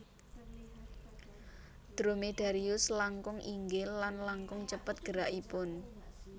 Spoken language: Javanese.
Dromedarius langkung inggil lan langkung cepet gerakipun